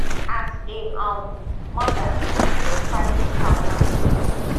as a um mother e dey quite traumatic